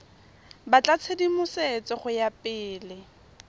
batla tshedimosetso go ya pele